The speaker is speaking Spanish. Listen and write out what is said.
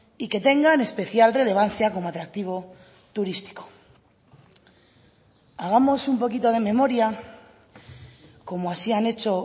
y que tengan especial relevancia como atractivo turístico hagamos un poquito de memoria como así han hecho